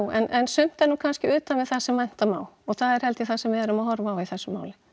en sumt er nú kannski utan við það sem vænta má og það er held ég það sem við erum að horfa á í þessu máli